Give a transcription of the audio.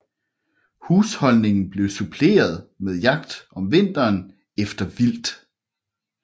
Husholdningen blev suppleret med jagt om vinteren efter vildt